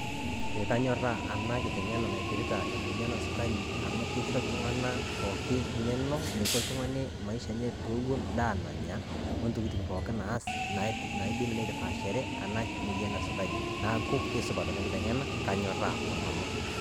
Eeh kanyorraa ana kiteng'ena naipirita emuoyian esukari amu keisho ltung'ana pooki ng'eno neiko ltung'ani maisha enye pewun ndaa nanya, ontokitin pooki naas naidim neitapashare ena moyian esukari, naaku keisupat ena kiteng'ena naaku kanyorraa onanu.